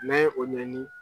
N'an ye o ɲɛɲini